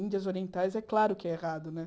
Índias Orientais, é claro que é errado, né?